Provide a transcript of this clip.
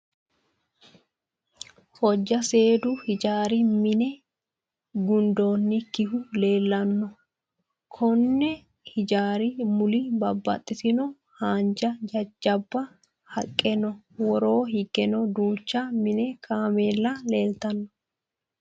Hojja seedu hijaari minne gundoyiikkihu leellanno. Konni hijaari mule babbaxitino haanja jajjaba haqqe no. Woroo higgeno duucha mini kaamella leeltanno.